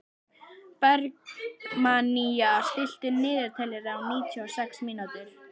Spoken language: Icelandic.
Bergmannía, stilltu niðurteljara á níutíu og sex mínútur.